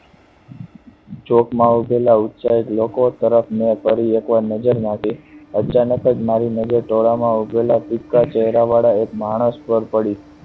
ચોક માં ઉભેલા ઉત્સાહી લોકો તરફ મેં ફરી એક વાર નજર નાખી. અચાનક જ મારી નજર ટોળાં માં ઉભેલા પિક્ચર ચેહરા વાળા એક માણસ પર પડી